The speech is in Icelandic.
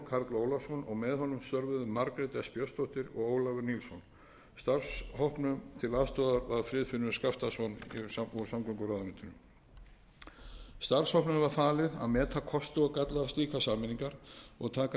störfuðu margrét s björnsdóttir og ólafur nilsson starfshópnum til aðstoðar var friðfinnur skaftason úr samgönguráðuneytinu starfshópnum var samið að meta kosti og galla slíkra sameiningar og taka tillit